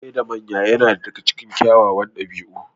Gaishe da manya yana daga cikin kyawawan ɗabi'u.